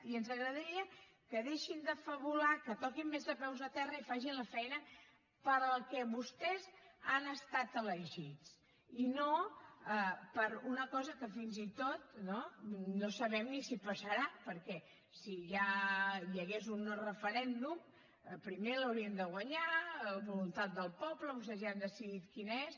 i ens agradaria que deixessin de fabular que toquessin més de peus a terra i fessin la feina per a la que vostès han estat elegits i no per a una cosa que fins i tot no no sabem ni si passarà perquè si hi hagués un no referèndum primer l’haurien de guanyar la voluntat del poble vostès ja han decidit quina és